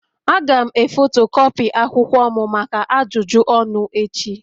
Aga'm e fotokopii akwụkwọ m maka ajụjụ ọnụ echi